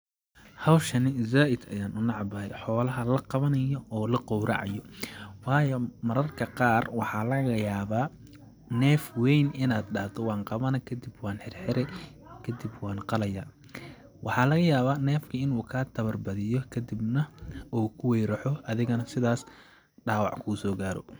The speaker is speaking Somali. Hawshani zaaid ayaan u necbahay xoolaha la qawanayo oo la qowracayo waayo mararka qaar waxaa laga yabaa neef weyn inaad dhado waan qawani kadib waan xirxiri kadib waan qalaya ,waxaa laga yawaa neefka inuu kaaa tawar badiyo kadibna uu kuweyraxo adina sidaas dhaawac kusoo gaaro .